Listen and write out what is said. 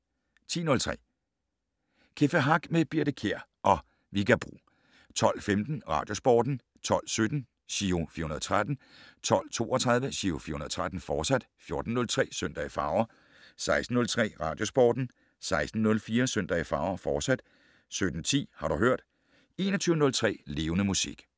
10:03: Café Hack med Birthe Kjær og Vigga Bro 12:15: Radiosporten 12:17: Giro 413 12:32: Giro 413, fortsat 14:03: Søndag i farver 16:03: Radiosporten 16:04: Søndag i farver, fortsat 17:10: Har du hørt 21:03: Levende Musik